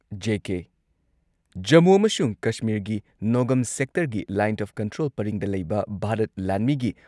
JK Jammu ꯑꯃꯁꯨꯡ ꯀꯁꯃꯤꯔꯒꯤ ꯅꯣꯒꯝ ꯁꯦꯛꯇꯔꯒꯤ ꯂꯥꯏꯟ ꯑꯣꯐ ꯀꯟꯇ꯭ꯔꯣꯜ ꯄꯔꯤꯡꯗ ꯂꯩꯕ ꯚꯥꯔꯠ ꯂꯥꯟꯃꯤꯒꯤ